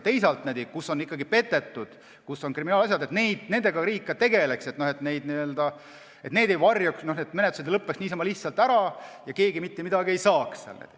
Teisalt, kui on ikkagi petetud, kui on kriminaalasjad, siis riik peab nendega tegelema, mitte nii, et neid varjatakse, menetlused lõpevad niisama lihtsalt ära ja keegi mitte midagi ei saa.